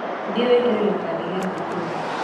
Thĩ wĩkĩre gĩbandĩ gĩa thukuru